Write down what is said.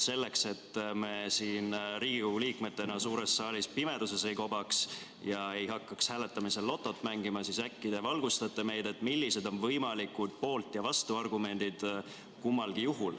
Selleks, et me siin Riigikogu liikmetena suures saalis pimeduses ei kobaks ja ei hakkaks hääletamisel lotot mängima, äkki te valgustate meid, millised on kummalgi juhul võimalikud poolt- ja vastuargumendid.